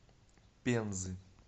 пензы